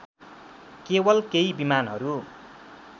केवल केही विमानहरू